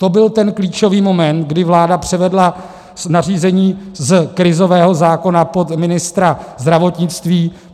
To byl ten klíčový moment, kdy vláda převedla nařízení z krizového zákona pod ministra zdravotnictví.